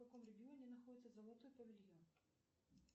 в каком регионе находится золотой павильон